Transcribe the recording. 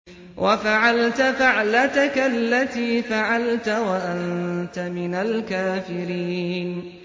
وَفَعَلْتَ فَعْلَتَكَ الَّتِي فَعَلْتَ وَأَنتَ مِنَ الْكَافِرِينَ